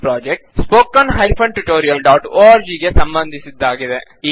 ಈ project httpspoken tutorialorg ಗೆ ಸಂಬಂಧಿಸಿದ್ದಾಗಿದೆ